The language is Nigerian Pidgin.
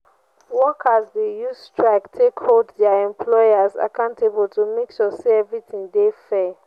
workers de use strike take hold their employers accountable to make sure say everything de fair